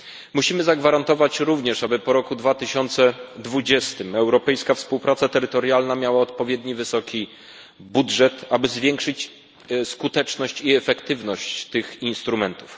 Musimy zagwarantować również, aby po roku 2020 europejska współpraca terytorialna miała odpowiednio wysoki budżet, aby zwiększyć skuteczność i efektywność tych instrumentów.